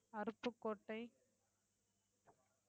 Aruppukottai